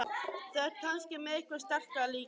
Þú ert kannski með eitthvað sterkara líka?